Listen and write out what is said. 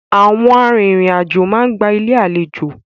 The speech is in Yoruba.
Àwọn arìnrìn-àjò máa ń gba Ilé-àlejò.